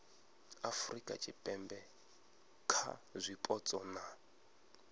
afurika tshipembe kha zwipotso na